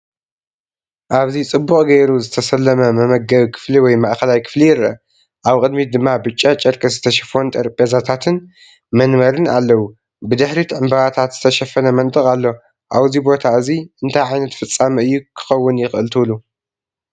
ኣብዚ ጽቡቕ ጌሩ ዝተሰለመ መመገቢ ክፍሊ ወይ ማእከላይ ክፍሊ ይርአ። ኣብ ቅድሚት ድማ ብጫ ጨርቂ ዝተሸፈኑ ጠረጴዛታትን መንበርን ኣለዉ። ብድሕሪት ብዕምባባታት ዝተሸፈነ መንደቕ ኣሎ። ኣብዚ ቦታ እዚ እንታይ ዓይነት ፍጻመ እዩ ክካወን ይኽእል ትብሉ?